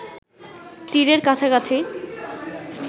তীরের কাছাকাছি